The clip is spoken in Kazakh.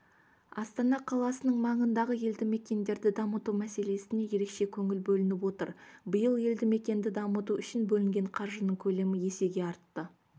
астана қаласының маңындағы елдімекендерді дамыту мәселесіне ерекше көңіл бөлініп отыр биыл елдімекенді дамыту үшін бөлінген қаржының көлемі есеге артты